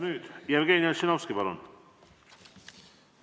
Nüüd Jevgeni Ossinovski, palun!